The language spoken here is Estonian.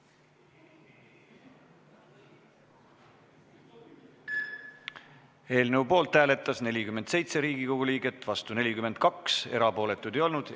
Hääletustulemused Eelnõu poolt hääletas 47 Riigikogu liiget, vastu oli 42, erapooletuid ei olnud.